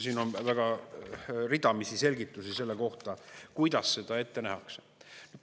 Siin on väga ridamisi selgitusi selle kohta, kuidas seda ette nähakse.